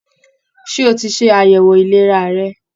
Ṣé o tí ṣe àyẹwò ìlera rẹ?